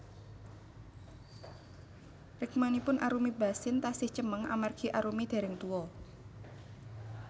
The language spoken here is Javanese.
Rikmanipun Arumi Bachsin tasih cemeng amargi Arumi dereng tuwa